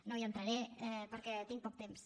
no hi entraré perquè tinc poc temps